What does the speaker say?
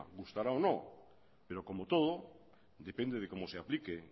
gustará o no pero como todo depende de cómo se aplique